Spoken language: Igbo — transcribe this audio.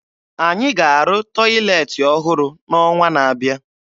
Anyị ga-arụ tọyịleetị ọhụrụ n'ọnwa na-abịa